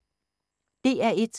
DR1